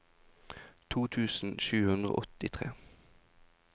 to tusen sju hundre og åttitre